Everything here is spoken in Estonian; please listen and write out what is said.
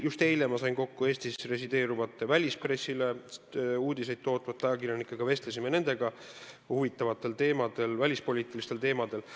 Just eile sain ma kokku Eestis resideeruvate, välispressile uudiseid tootvate ajakirjanikega, vestlesime nendega huvitavatel välispoliitilistel teemadel.